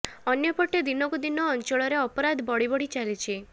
ଅନ୍ୟପଟେ ଦିନକୁ ଦିନ ଅଞ୍ଚଳରେ ଅପରାଧ ବଢ଼ି ବଢ଼ି ଚାଲିଛି